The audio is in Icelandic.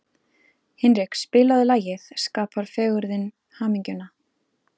Hinrik, spilaðu lagið „Skapar fegurðin hamingjuna“.